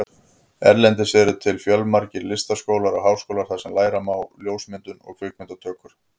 Erlendis eru til fjölmargir listaskólar og háskólar þar sem læra má ljósmyndun og kvikmyndatökur.